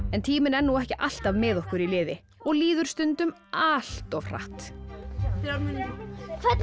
en tíminn er ekki alltaf með okkur í liði og líður stundum allt of hratt þrjár mínútur hvernig